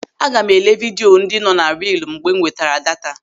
Aga m elee video vidio ndị nọ na riilu mgbe m nwetara daata.